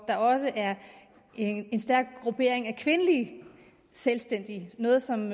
er også en stærk gruppering af kvindelige selvstændige noget som